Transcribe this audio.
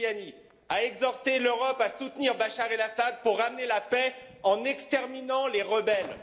Mariani, a exhorté l'Europe à soutenir Bachar El Assad pour ramener la paix en exterminant les rebelles.